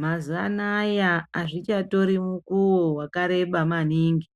Mazuva anaya hazvichatori mukuwo wakareba maningi